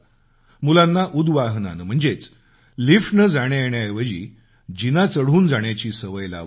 मुलांना उदवाहनानं म्हणजेच लिफ्टनं जाण्यायेण्याऐवजी जिना चढून जाण्याची सवय लावावी